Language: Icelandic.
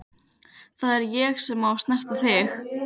Það er ég sem á að snerta þig.